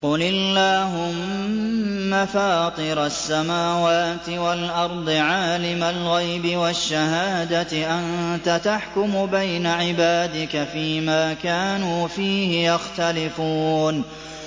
قُلِ اللَّهُمَّ فَاطِرَ السَّمَاوَاتِ وَالْأَرْضِ عَالِمَ الْغَيْبِ وَالشَّهَادَةِ أَنتَ تَحْكُمُ بَيْنَ عِبَادِكَ فِي مَا كَانُوا فِيهِ يَخْتَلِفُونَ